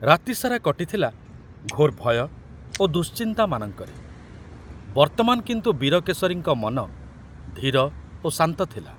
ରାତି ସାରା କଟିଥିଲା ଘୋର ଭୟ ଓ ଦୁଶ୍ଚିନ୍ତାମାନଙ୍କରେ, ବର୍ତ୍ତମାନ କିନ୍ତୁ ବୀରକେଶରୀଙ୍କ ମନ ଧୀର ଓ ଶାନ୍ତ ଥିଲା।